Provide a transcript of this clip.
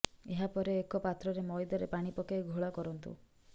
ଏହା ପରେ ଏକ ପାତ୍ରରେ ମଇଦାରେ ପାଣି ପକାଇ ଘୋଳ କରନ୍ତୁ